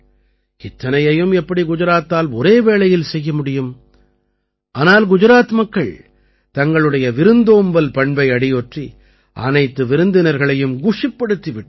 இத்தனையையும் எப்படி குஜராத்தால் ஒரே வேளையில் செய்ய முடியும் ஆனால் குஜாராத் மக்கள் தங்களுடைய விருந்தோம்பல் பண்பை அடியொற்றி அனைத்து விருந்தினர்களையும் குஷிப்படுத்தி விட்டார்கள்